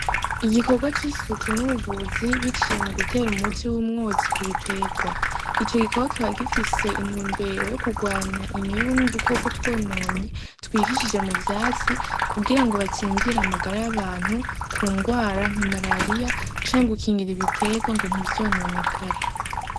Igikorwa c'i suku n'uvuzi biciye mu gutera umutsi w'umwotsi ku biterwa ico gikoba kiba gifise intumbero yo kurwanya imibu n'dukoko twononye twihishije mu vyatsi kugira ngo bacinzira amagari abantu ku ngwara nka marariya cange ukingira ibiterwa ngo ntivyononekare.